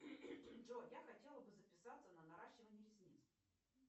джой я хотела бы записаться на наращивание ресниц